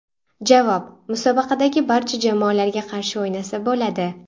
Javob: Musobaqadagi barcha jamoalarga qarshi o‘ynasa bo‘ladi.